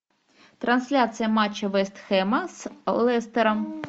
трансляция матча вест хэма с лестером